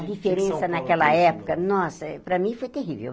A diferença São Paulo Naquela época, nossa, para mim foi terrível.